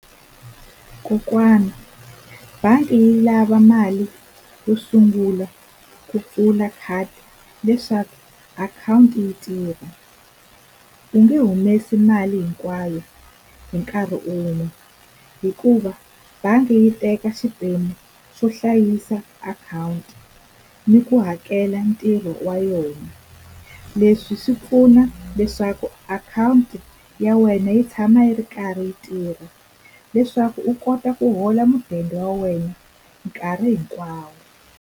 Kokwana bangi yi lava mali yo sungula ku pfula khadi leswaku akhawunti yi tirha u nge humesi mali hinkwayo hi nkarhi wun'we hikuva bangi yi teka xiphemu xo hlayisa akhawunti ni ku hakela ntirho wa yona leswi swi pfuna leswaku akhawunti ya wena yi tshama yi ri karhi yi tirha leswaku u kota ku hola mudende wa wena nkarhi hinkwawo.